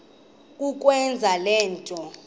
kukwenza le nto